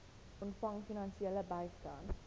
ontvang finansiële bystand